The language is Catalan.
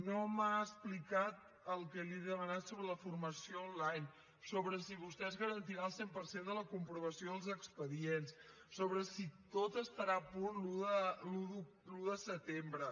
no m’ha explicat el que li he demanat sobre la formació online sobre si vostès garantiran el cent per cent de la comprovació dels expedients sobre si tot estarà a punt l’un de setembre